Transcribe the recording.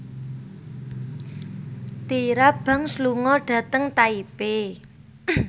Tyra Banks lunga dhateng Taipei